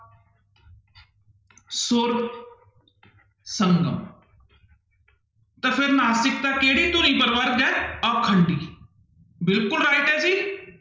ਸੁਰ ਸੰਗਮ ਤਾਂ ਫਿਰ ਨਾਸਿਕਤਾ ਕਿਹੜੀ ਧੁਨੀ ਪ੍ਰਵਰਗ ਹੈ ਆਖੰਡੀ, ਬਿਲਕੁਲ right ਹੈ ਜੀ।